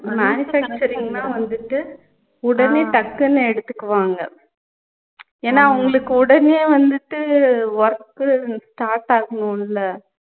manufacturing வந்துட்டு உடனே டக்குனு எடுத்துக்குவாங்க ஏனா அவங்களுக்கு உடனே வந்துட்டு work start ஆகணும்ல